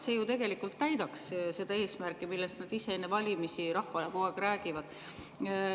See ju tegelikult täidaks seda eesmärki, millest nad ise enne valimisi rahvale kogu aeg räägivad.